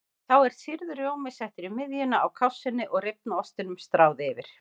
Þá er sýrður rjómi settur í miðjuna á kássunni og rifna ostinum stráð yfir.